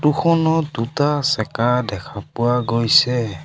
দুটা চেকা দেখা পোৱা গৈছে।